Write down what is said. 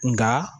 Nka